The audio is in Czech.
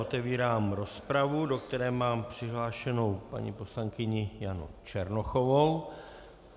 Otevírám rozpravu, do které mám přihlášenou paní poslankyni Janu Černochovou.